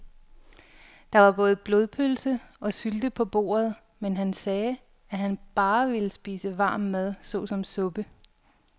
Der var både blodpølse og sylte på bordet, men han sagde, at han bare ville spise varm mad såsom suppe.